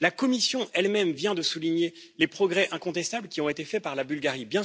La Commission, elle même, vient de souligner les progrès incontestables qui ont été faits par la Bulgarie.